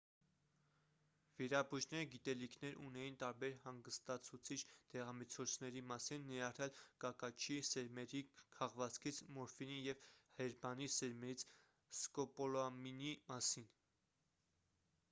վիրաբույժները գիտելիքներ ունեին տարբեր հանգստացուցիչ դեղամիջոցների մասին ներառյալ կակաչի սերմերի քաղվածքից մորֆինի և հերբանի սերմերից սկոպոլամինի մասին